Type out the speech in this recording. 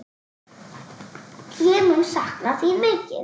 Ég mun sakna þín mikið.